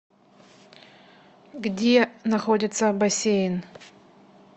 где находится бассейн